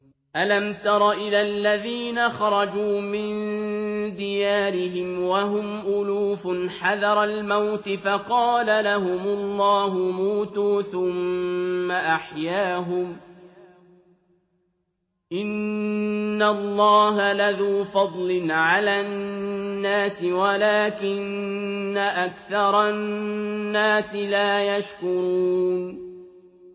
۞ أَلَمْ تَرَ إِلَى الَّذِينَ خَرَجُوا مِن دِيَارِهِمْ وَهُمْ أُلُوفٌ حَذَرَ الْمَوْتِ فَقَالَ لَهُمُ اللَّهُ مُوتُوا ثُمَّ أَحْيَاهُمْ ۚ إِنَّ اللَّهَ لَذُو فَضْلٍ عَلَى النَّاسِ وَلَٰكِنَّ أَكْثَرَ النَّاسِ لَا يَشْكُرُونَ